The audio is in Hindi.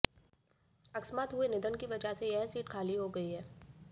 अकस्मात हुए निधन की वजह से यह सीट खाली हो गई है